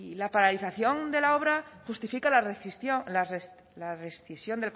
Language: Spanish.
la paralización de la obra justifica la rescisión